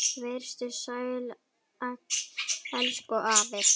Vertu sæll, elsku afi.